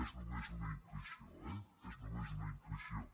és només una intuïció eh és només una intuïció